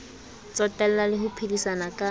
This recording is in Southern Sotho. tsotella le ho phedisana ka